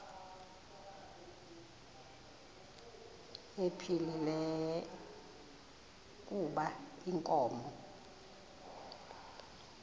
ephilile kuba inkomo